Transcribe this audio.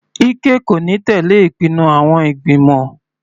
Ike kò ní tẹ̀lẹ́ ìpinnu àwọn ìgbìmọ̀.